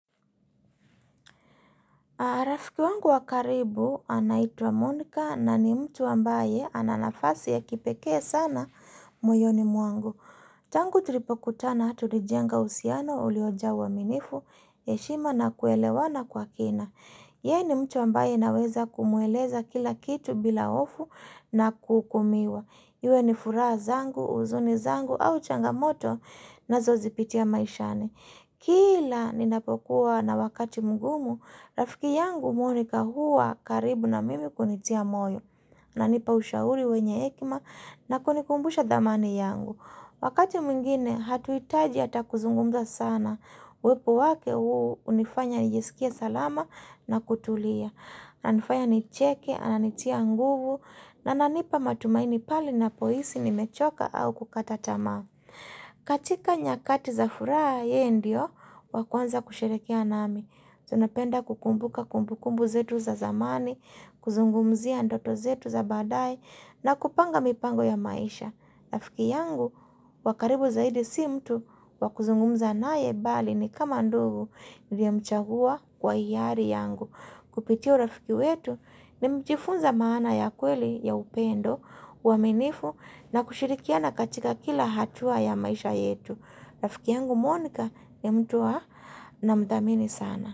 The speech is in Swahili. Rafiki wangu wa karibu anaitwa Monika na ni mtu ambaye ana nafasi ya kipekee sana moyoni mwangu. Tangu tulipokutana tulijenga uhusiano ulioja uaminifu, heshima na kuelewana kwa kina. Ye ni mtu ambaye naweza kumweleza kila kitu bila ofu na kuukumiwa. Iwe ni furaha zangu, uzuni zangu au changamoto na zozipitia maishani Kila ninapokuwa na wakati mgumu, rafiki yangu monika huwa karibu na mimi kunitia moyo Nanipa ushauri wenye hekima na kunikumbusha dhamani yangu Wakati mwingine hatuitaji hata kuzungumza sana Wepo wake huu unifanya nijisikie salama na kutulia Nanifanya nicheke, ananitia nguvu Ananipa matumaini pale napohisi nimechoka au kukata tamaa katika nyakati za furaha yeye ndio, wa kwanza kusherehekea nami tunapenda kukumbuka kumbukumbu zetu za zamani, kuzungumzia ndoto zetu za badae na kupanga mipango ya maisha Rafiki yangu, wa karibu zaidi si mtu, wa kuzungumza na ye bali ni kama ndugu Niliyemchagua kwa hiari yangu Kupitia urafiki wetu, nimejifunza maana ya kweli ya upendo uaminifu na kushirikiana katika kila hatua ya maisha yetu Rafiki yangu monika ni mtu namdhamini sana.